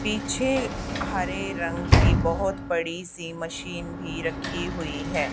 पीछे हरे रंग की बहोत बड़ी सी मशीन भी रखी हुई है।